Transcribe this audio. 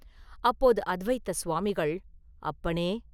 அப்போது அத்வைத சுவாமிகள், “அப்பனே!